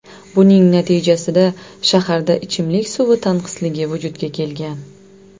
Buning natijasida shaharda ichimlik suvi tanqisligi vujudga kelgan.